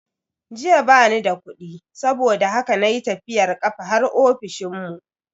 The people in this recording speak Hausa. Jiya bani da kudi saboda haka na yi tafiyar kafa har ofishinmu.